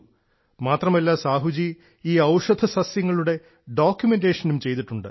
മാത്രമല്ല ശ്രീ സാഹു ഔഷധസസ്യങ്ങളുടെ ഡോക്യുമെന്റേഷനും ചെയ്തിട്ടുണ്ട്